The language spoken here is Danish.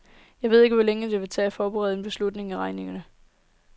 Jeg ved ikke, hvor længe det vil tage at forberede en beslutning i regeringen.